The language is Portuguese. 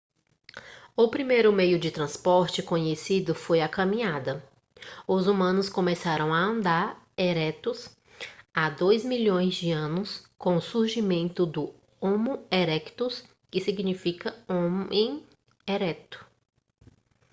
o primeiro meio de transporte conhecido foi a caminhada. os humanos começaram a andar eretos há dois milhões de anos com o surgimento do homo erectus que significa homem ereto"